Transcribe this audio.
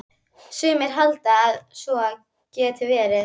Sumir halda að svo geti verið.